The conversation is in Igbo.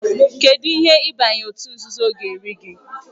Kedụ ihe ịbanye òtù nzuzo ga-eri gị?